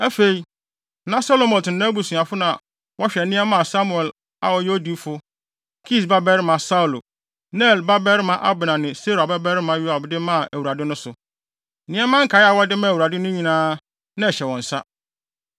Afei, na Selomot ne nʼabusuafo na wɔhwɛ nneɛma a Samuel a ɔyɛ odiyifo, Kis babarima Saulo, Ner babarima Abner ne Seruia babarima Yoab de maa Awurade no so. Nneɛma nkae a wɔde maa Awurade no nyinaa, na ɛhyɛ wɔn nsa.